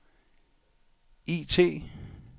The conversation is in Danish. IT